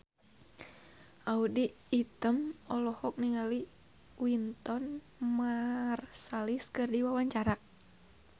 Audy Item olohok ningali Wynton Marsalis keur diwawancara